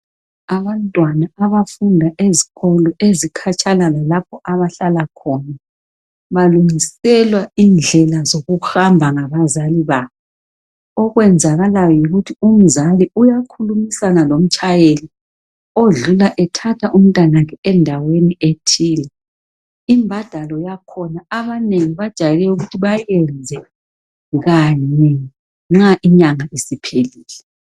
abantwana abafunda ezikolo ezikhatshana lalapha abahlala khona balungiselwa indlela zokuhamba ngabazali babo okwenzakalayo yikuthi umzali uyakhulumisana lomtshayeli odlula ethatha umntanakhe endaweni ethile imbadalo yakhona abanengi bajayele ukuthi bayenze kanye nxa inyanga isiphelile